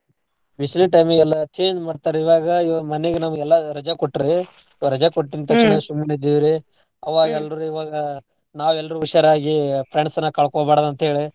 ಬಿಸ್ಲಿಗ್ time ಗೆಲ್ಲಾ change ಮಾಡ್ತಾರ್ ಇವಾಗ ಇವರ್ ಮನೀಗ್ ನಮ್ಗ ಎಲ್ಲಾ ರಜಾ ಕೊಟ್ರೀ ರಜಾ ಕೊಟ್ಟಿದ್ ತಕ್ಷಣ ಸುಮ್ನಿದ್ದೀರಿ ಆವಾಗ್ ಎಲ್ರೂ ಈವಾಗ ನಾವ್ ಎಲ್ರೂ ಹುಷಾರ್ ಆಗಿ friends ನ ಕಳ್ಕೋಬಾರ್ದ ಅಂತೇಳಿ.